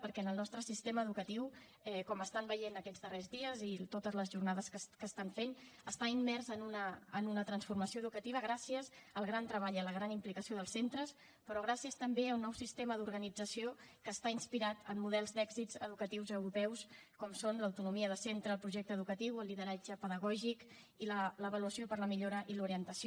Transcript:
perquè el nostre sistema educatiu com veuen aquests darrers dies i en totes les jornades que es fan està immers en una transformació educativa gràcies al gran treball i a la gran implicació dels centres però gràcies també a un nou sistema d’organització que està inspirat en models d’èxits educatius europeus com són l’autonomia de centre el projecte educatiu el lideratge pedagògic i l’avaluació per a la millora i l’orientació